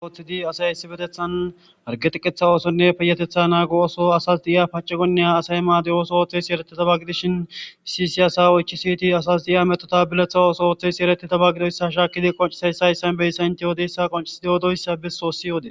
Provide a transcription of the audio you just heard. wothidi asay issi betethan argetiqetha oosonne peyetetha naago oso asas di7iya paci gonniya asay maade7oso ooththes yeretetabagidishin issi si asa oychi siiti asas di7iya metotabileththa ooso ooththes yeretetaba gidoyssa shaakidi qoncisayssa yssan beyssa inteyoodeyssa qonciside odoyssa be soossi oode